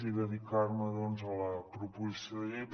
i dedicar me doncs a la proposició de llei